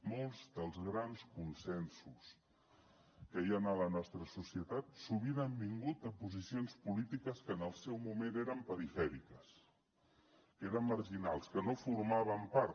molts dels grans consensos que hi ha en la nostra societat sovint han vingut de posicions polítiques que en el seu moment eren perifèriques que eren marginals que no formaven part